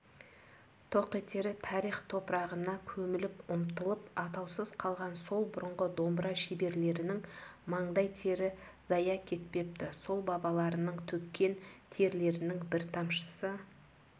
тоқетері тарих топырағына көміліп ұмытылып атаусыз қалған сол бұрынғы домбыра шеберлерінің маңдай тері зая кетпепті сол бабаларының төккен терлерінің бір тамшысы